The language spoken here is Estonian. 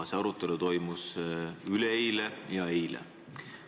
See arutelu toimus üleeile ja eile.